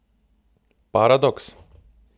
Paradoks?